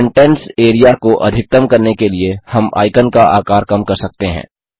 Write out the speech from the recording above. contents area को अधिकतम करने के लिए हम आइकन का आकार कम कर सकते हैं